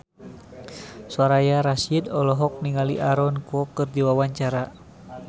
Soraya Rasyid olohok ningali Aaron Kwok keur diwawancara